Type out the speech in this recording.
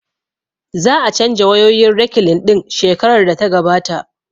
Za a canja wayoyin rekilin ɗin shekarar da ta gabata